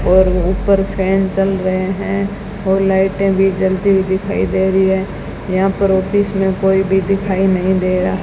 और ऊपर फैन चल रहे हैं और लाइटे भी जलती हुई दिखाई दे रही है यहां पर ऑफिस में कोई भी दिखाई नहीं दे रहा--